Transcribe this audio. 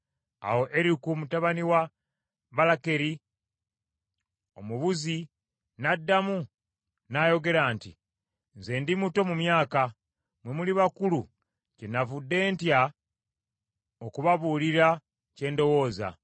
Awo Eriku mutabani wa Balakeri Omubuzi n’addamu n’ayogera nti, “Nze ndi muto mu myaka, mmwe muli bakulu, kyenavudde ntya okubabuulira kye ndowooza.